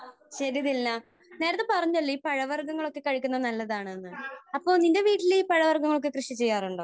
ശരി ദിൽന. നേരത്തെ പറഞ്ഞല്ലോ ഈ പഴവർഗങ്ങളൊക്കെ കഴിക്കുന്നത് നല്ലതാണെന്ന്. അപ്പോൾ ണിന്റെ വീട്ടിൽ ഈ പഴവർഗങ്ങളൊക്കെ കൃഷി ചെയ്യാറുണ്ടോ?